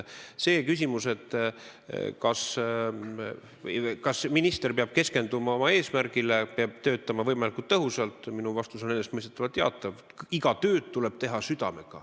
Küsimusele, kas minister peab keskenduma oma eesmärgile, peab töötama võimalikult tõhusalt, on minu vastus enesestmõistetavalt jaatav.